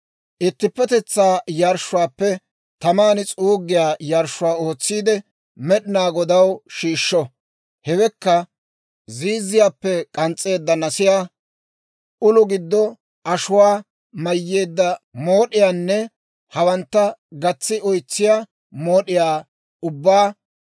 Ittippetetsaa yarshshuwaappe taman s'uuggiyaa yarshshuwaa ootsiide, Med'inaa Godaw shiishsho; hewekka, ziizziyaappe k'ans's'eedda nasiyaa, ulo giddo ashuwaa mayyeedda mood'iyaanne hawantta gatsi oytsiyaa mood'iyaa ubbaa,